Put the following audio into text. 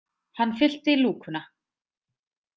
Hann fyllti lúkuna.